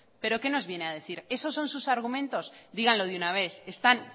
pero qué nos viene a decir esos son sus argumentos díganlo de una vez están